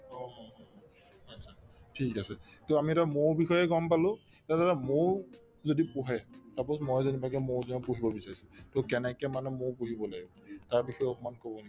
ঠিক আছে to আমি এতিয়া মৌৰ বিষয়ে গম পালো তাৰপিছতে মৌ যদি পোহে suppose মই যেনিৱাকে মৌ জাক পুহিব বিচাৰিছো to কেনেকে মানে মৌ পুহিব লাগিব তাৰবিষয়ে অকমান কব নেকি